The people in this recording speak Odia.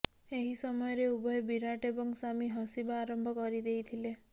ଏହି ସମୟରେ ଉଭୟ ବିରାଟ୍ ଏବଂଶାମି ହସିବା ଆରମ୍ଭ କରିଦେଇଥିଲେ